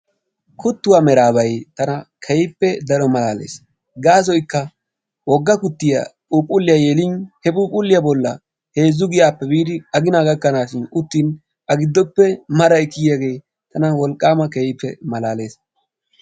Kuttuwaa meraabay tana keehippe daro malaales. Gaasoyikka wogga kuttiya phuuphulliya yelin he phuuphulliya bolla heezzu giyaappe biidi agina gakkanaashin uttin a giddoppe maray kiyiyaagee tana wolqaama keehippe malaales.